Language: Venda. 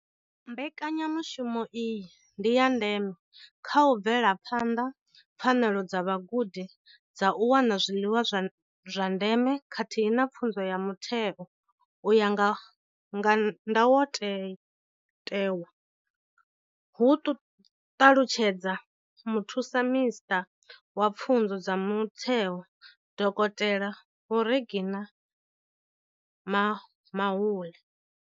Mbekanyamushumo iyi ndi ya ndeme kha u bvela phanḓa pfanelo dza vhagudi dza u wana zwiḽiwa zwa ndeme khathihi na pfunzo ya mutheo u ya nga ndayotewa, hu ṱalutshedza muthusaminisṱa wa pfunzo dza mutheo, dokotela vho Reginah Mhaule.